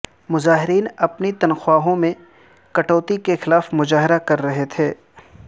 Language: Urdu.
مظاہرین اپنی تنخواہوں میں کٹوتی کے خلاف مظاہرہ کر رہے تھے